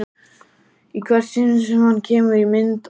Í hvert sinn sem hann kemur í mynd á